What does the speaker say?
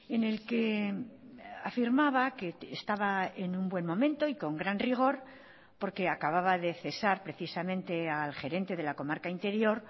en el que afirmaba que estaba en un buen momento y con gran rigor porque acababa de cesar precisamente al gerente de la comarca interior